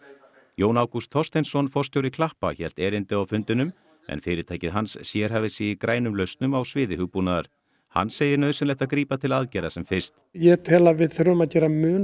Jón Ágúst Þorsteinsson forstjóri klappa hélt erindi á fundinum en fyrirtækið hans sérhæfir sig í grænum lausnum á sviði hugbúnaðar hann segir nauðsynlegt að grípa til aðgerða sem fyrst ég tel að við þurfum að gera mun